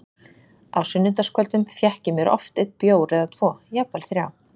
Á sunnudagskvöldum fékk ég mér oft einn bjór eða tvo, jafnvel þrjá.